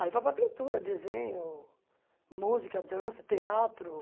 Aí vai para a pintura, desenho, música, dança, teatro.